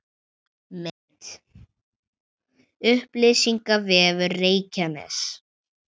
Mynd: Upplýsingavefur Reykjaness